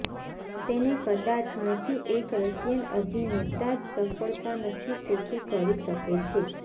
તેને કદાચ નથી એક રશિયન અભિનેતા જ સફળતા નથી શેખી કરી શકે છે